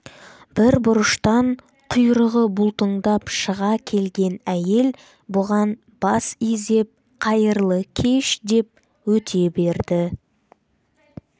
бір бұрыштан құйрығы бұлтыңдап шыға келген әйел бұған бас изеп қайырлы кеш деп өте берді